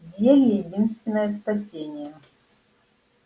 зелье единственное спасение